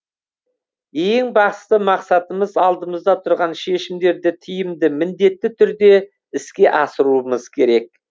ең басты мақсатымыз алдымызда тұрған шешімдерді тиімді міндетті түрде іске асыруымыз керек